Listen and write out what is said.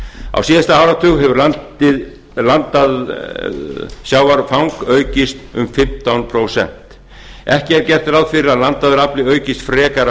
á síðasta áratug hefur landað sjávarfang aukist um fimmtán prósent ekki er gert ráð fyrir að landaður afli aukist frekar